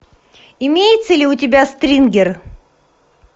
имеется ли у тебя стрингер